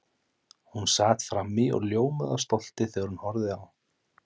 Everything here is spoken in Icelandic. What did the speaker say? Hún sat frammí og ljómaði af stolti þegar hún horfði á